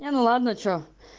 не ну ладно что